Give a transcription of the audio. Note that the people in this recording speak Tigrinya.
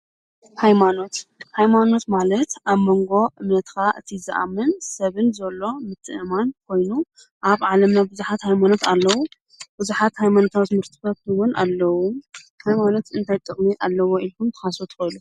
ኃይማኖት ኃይማኖት ማለት ኣብ መንጎ እመትካ እቲ ዝኣምን ሰብን ዘሎ ምጥእማን ኮይኑ ኣብ ዓለም ብዙኃት ኃይማኖት ኣለዉ ብዙኃት ኃይማኖትዊት ምርትበትውን ኣለዉ ሓይማኖት እንታይ ጥቕኒ ኣለዉ ኢልኁን ተኻሰተወሉ?